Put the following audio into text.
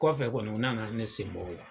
Kɔfɛ kɔni u nana ne sen bɔ o la